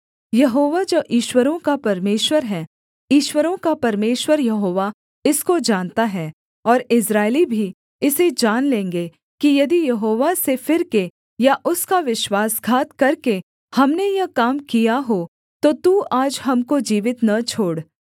यहोवा जो ईश्वरों का परमेश्वर है ईश्वरों का परमेश्वर यहोवा इसको जानता है और इस्राएली भी इसे जान लेंगे कि यदि यहोवा से फिरके या उसका विश्वासघात करके हमने यह काम किया हो तो तू आज हमको जीवित न छोड़